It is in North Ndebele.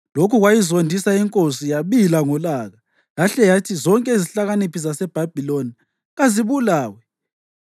Lokhu kwayizondisa inkosi yabila ngolaka yahle yathi zonke izihlakaniphi zaseBhabhiloni kazibulawe.